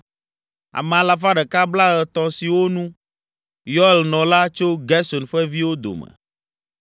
Ame alafa ɖeka blaetɔ̃ (130) siwo nu, Yoel nɔ la, tso Gerson ƒe viwo dome.